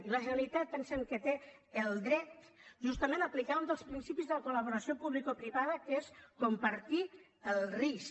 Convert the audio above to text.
i la generalitat pensem que té el dret justament d’aplicar un dels principis de la col·laboració publicoprivada que és compartir el risc